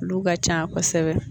Olu ka ca kosɛbɛ